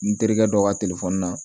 N terikɛ dɔ ka na